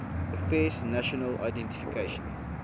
affairs national identification